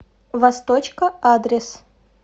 восточка адрес